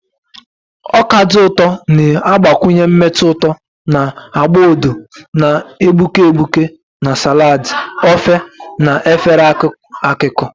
Ọka dị ụtọ na-agbakwụnye mmetụ ụtọ na agba odo na-egbuke egbuke na salads, ofe, na efere akụkụ.